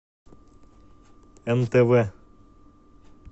нтв